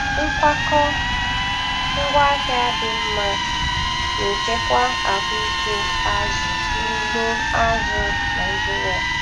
Nkwakọ ngwaahịa dị mma na-echekwa ahụike azụ n'ugbo azụ̀ Naịjiria.